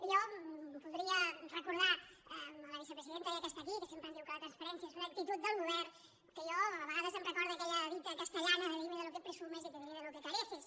jo voldria recordar a la vicepresidenta ja que està aquí que sempre em diu que la transparència és una actitud del govern que a mi a vegades em recorda aquella dita castellana de dime de lo que presumes y te diré de lo que careces